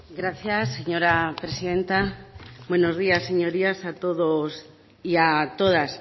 gracias señora presidenta buenos días señorías a todos y a todas